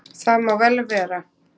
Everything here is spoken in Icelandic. Það má vel vera.